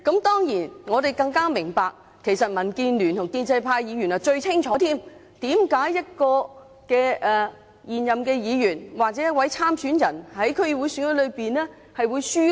當然，我們都明白，而民建聯和建制派議員最清楚，為甚麼一個現任議員，或者一位參選人，在區議會選舉會落敗。